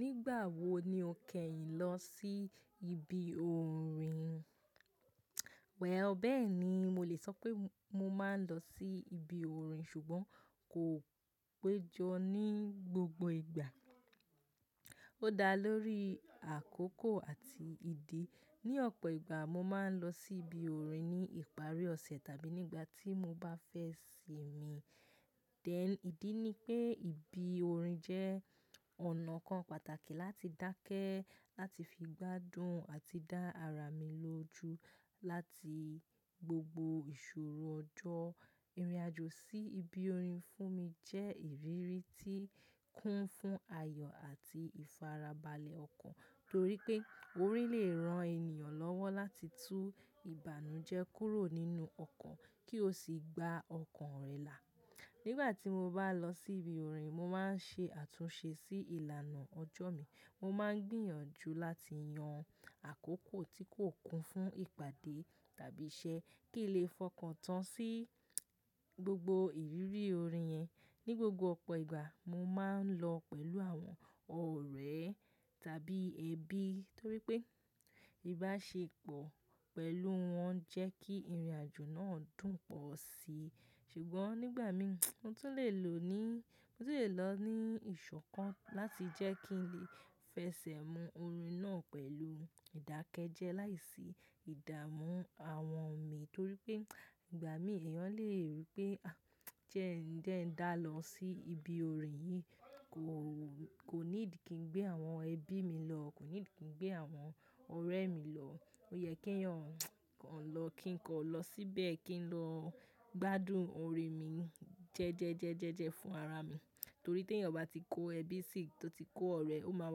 Nígbà wo ni o kẹ́yìn lọ sí ibi orin? Well, bẹ́ẹ̀ni, mo lè sọ pé mo máa ń lọ sí ibi orin ṣùgbọ́n kò péjọ ní gbogbo ìgbà. Ó dá lórí àkókò àti ìdí. Ni ọ̀pọ̀ ìgbà mo máa ń lọ sí ibi orin ní ìparí ọ̀sẹ̀ tàbí nígbà tí mo bá fẹ́ sìmi. Then, ìdí ni pé ibi orin jẹ́ ọ̀nà kan pàtàkì láti dákẹ́ láti fi gbádùn àti dá ara mi lóju láti gbogbo ìṣòro ọjọ́. Irinajo sí ibi orin fún mi jẹ́ ìrírí tí ń kún fún ayọ̀ àti ìfarabalẹ̀ ọkàn torí pé orin lè ran ènìyàn lọ́wọ́ láti tú ìbànújẹ́ kúrò nínú ọkàn kí ó sì gba ọkàn rẹ̀ là. Nígbà tí mo bá lọ sí ibi orin, mo máa ń ṣe àtúnṣe sí ìlànà ọjọ́ mi. Mo máa ń gbìyànjú láti yan àkókò tí kò kún fún ìpàdé tàbí iṣẹ́ kí lè fọkàn tán sí gbogbo ìrírí orin yẹn. Ni gbogbo ọ̀pọ̀ ìgbà mo máa ń lọ pẹ̀lú àwọn ọ̀rẹ́ tàbí ẹbí torí pé ìbáṣepọ̀ pẹ̀lú wọn jẹ́ kí ìrìnàjò náà dùn pọ̀ síi. Ṣùgbọ́n nígbà mi mo tún lè lò ní, mo tún lè lọ ní ìṣọ̀kan láti jẹ́ kí n lè fẹsẹ̀ mu orin náà pẹ̀lú ìdákẹ́jẹ́ láìsí ìdààmú àwọn mi torí pé ìgbà mí ẹ̀yàn lè rí pé, à jẹ́ ń dẹ́ń dá lọ sí ibi orin yìí kò, kò need kí n gbé àwọn ẹbí mi lọ, kò need kí n gbé àwọn ọ̀rẹ́ mi lọ. Ó yẹ kí ẹ̀yàn kan lọ kí n kọ lọ síbẹ̀ kí n lọ gbádùn orin mi jẹ́jẹ́jẹ́jẹ́jẹ́ fún ara mi. Torí ti eeyan bá ti kó ẹbí sí, tó ti kó ọ̀rẹ́, ó máa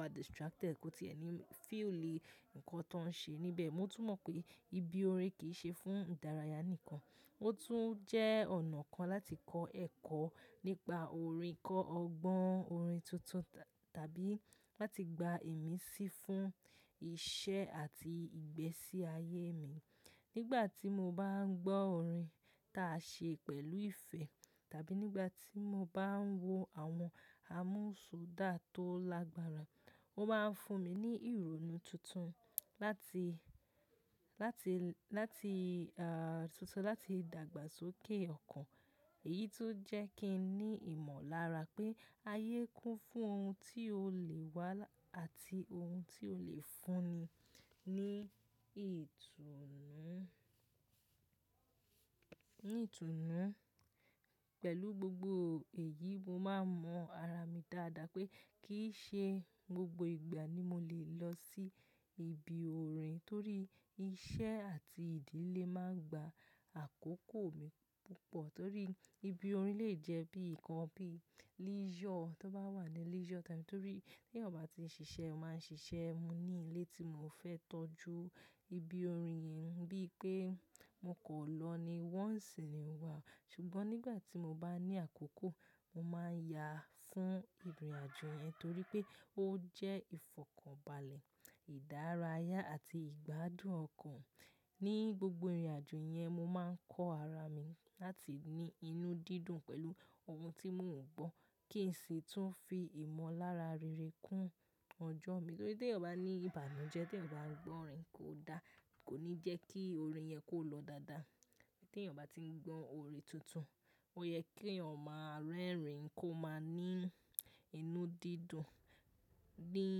wà distracted, kò tí ẹ̀ ní feel ní nǹkan tó ń ṣe níbẹ̀. Mo tún mọ̀ pé ibi orin kì í ṣe fún ìdárayá nìkan, ó tún jẹ́ ọ̀nà kan láti kọ́ ẹ̀kọ́ nípa orin, kọ́ ọgbọ́n orin tuntun tàbí láti gba ìmísí fún iṣẹ́ àti ìgbésí ayé mi. Nígbà tí mo bá ń gbọ́ orin ta ṣe pẹ̀lú ìfẹ́ tàbí nígbà tí mo bá ń wo àwọn amúsọ́dà tó lágbára, ó máa ń fún mi ní ìrònú tuntun láti, láti, láti ah tuntun láti dàgbàsókè ọkàn. Èyí tún jẹ́ kí n ní ìmọ̀lára pé ayé kún fún ohun tí ó lè wá àti ohun tí ó lè fún'ni ní ìtùnú, ní ìtùnú. Pẹ̀lú gbogbo èyí mo máa mọ ara mi dáadáa pé kì í ṣe gbogbo ìgbà ni mo lè lọ sí ibi orin torí iṣẹ́ àti ìdílé máa ń gba àkókò mi púpọ̀ torí ibi orin lè jẹ́ bí ǹkan bí leisure tó bá wà ní leisure time torí tí ẹ̀yàn bá ti ń ṣiṣẹ́, ó máa ń ṣiṣẹ́, mo ní ilé tí mò fẹ́ tọ́jú, ibi orin yìí ń bí pé mo kò lọ ní once in a while. Ṣùgbọ́n nígbà tí mo bá ní àkókò, mo máa ń yà á fún ìrìnàjò yẹn torí pé ó jẹ́ ìfọ̀kànbalẹ̀, ìdárayá àti ìgbádùn ọkàn. Ni gbogbo ìrìnàjò yẹn mo máa ń kọ́ ara mi láti ní inú dídùn pẹ̀lú ohun tí mò ń gbọ́ kí sì tún fi ìmọ̀lára rere kún ọjọ́ mi torí tí ẹ̀yàn bá ní ìbànújẹ́, tí ẹ̀yàn bá ń gbọ́ orin kò da, kò ní jẹ́ kí orin yẹn kó lọ dáadáa. Tí ẹ̀yàn bá ti ń gbọ́ orin tuntun, ó yẹ kí ẹ̀yàn máa rẹ́rìn-ín kó máa ní inú dídùn. Dín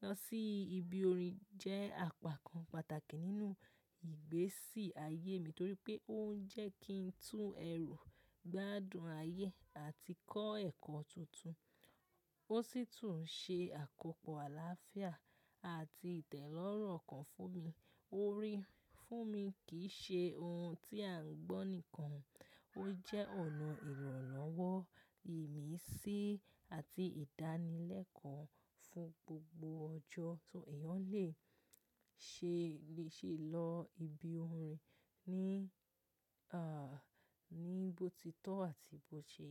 lọ sí ibi orin jẹ́ àpá kan pàtàkì nínú ìgbésí ayé mi torí pé ó ń jẹ́ kí n tú ẹ̀rù, gbádùn ayé àti kọ́ ẹ̀kọ́ tuntun. Ó sì tún ṣe àkópọ̀ àlàáfíà àti ìtẹ́lọ́rùn ọkàn fún mi. Orin fún mi kì í ṣe ohun tí à ń gbọ́ nìkan, ó jẹ́ ọ̀nà ìranlowo, ìmísí àti ìdánilẹ́kọ̀ọ́ fún gbogbo ọjọ́ tí ẹ̀yàn lè ṣe lè ṣe lọ ibi orin ní ah ní bó ti tó àti bó ṣe.